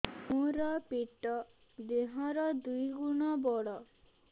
ମୋର ପେଟ ଦେହ ର ଦୁଇ ଗୁଣ ବଡ